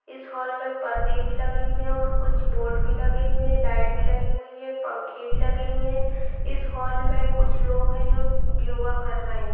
इस हॉल में पर्दे भी लगे हुये हैं और कुछ बोर्ड भी लगे हुये हैं लाइट भी लगी हुई हैं पंखे भी लगे हुये हैं। इस हॉल में कुछ लोग हैं जो योगा कर रहे हैं।